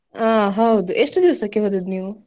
ಆ ಹೌದು ಎಷ್ಟ್ ದಿವಸಕ್ಕೆ ಹೊದದ್ದ್ ನೀವು?